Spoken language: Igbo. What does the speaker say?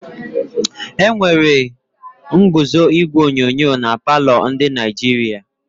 Enwere ñguzo igwe onyonyo na palọ ndi Naịjirịa.